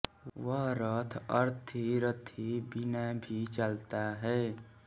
वह रथ अरथी रथी बिना भी चलता है